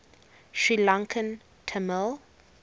sri lankan tamil